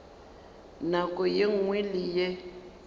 nako ye nngwe le ye